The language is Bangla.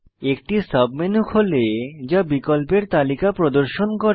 একটি সাবমেনু খোলে যা বিকল্পের তালিকা প্রদর্শন করে